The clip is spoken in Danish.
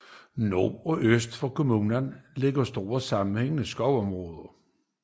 Nord og øst for kommunen ligger store sammenhængende skovområder